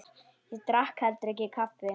Ég drakk heldur ekki kaffi.